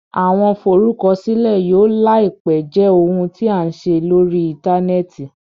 Awọn Forukọsilẹ yóò laipe jẹ ohun tí a n ṣe lórí interneti